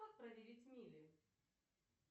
как проверить мили